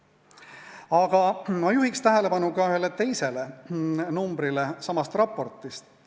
Aga ma juhiks samas raportis tähelepanu ka ühele teisele numbrile.